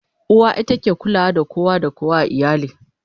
uwa ita ke kulawa da kowa da kowa a iyali